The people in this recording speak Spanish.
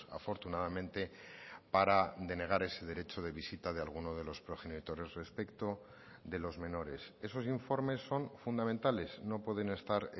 afortunadamente para denegar ese derecho de visita de alguno de los progenitores respecto de los menores esos informes son fundamentales no pueden estar